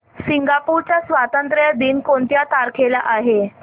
Singapore चा स्वातंत्र्य दिन कोणत्या तारखेला आहे